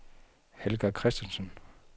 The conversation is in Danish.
Helga Christensen